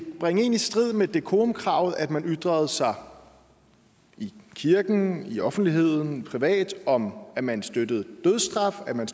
bringe en i strid med decorumkravet at man ytrede sig i kirken i offentligheden eller privat om at man støttede dødsstraf at man